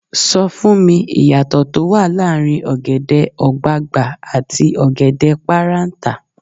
Sọ fún mi, ìyàtọ̀ tó wà láàrin ọ̀gẹ̀dẹ̀ ọ̀gbagbà àti ọ̀gẹ̀dẹ̀ páráǹtà.